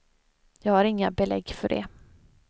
Jag har inga belägg för det.